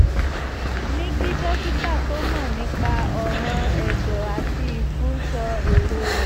ní kí dókítà tó mọ nípa ọ̀ràn ẹ̀dọ̀ àti ìfun sọ èrò rẹ̀